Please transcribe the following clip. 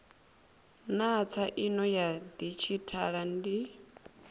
naa tsaino ya didzhithala ndi